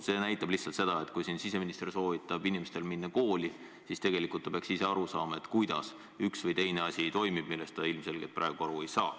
See näitab lihtsalt seda, et kui siseminister soovitab inimestel minna kooli, siis tegelikult ta peaks ise aru saama, kuidas toimib üks või teine asi, millest ta ilmselgelt praegu aru ei saa.